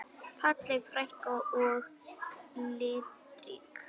Falleg frænka og litrík.